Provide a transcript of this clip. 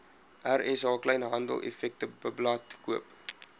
rsa kleinhandeleffektewebblad koop